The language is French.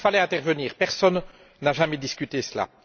Il fallait donc intervenir, personne n'a jamais discuté cela.